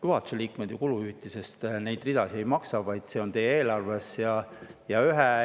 Juhatuse liikmed ju kuluhüvitise ridadest neid ei maksa, vaid see on eelarves.